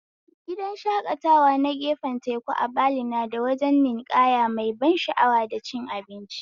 Gidan shakatawa na gefen teku a Bali nada wajen ninƙaya mai ban sha'awa da cin abinci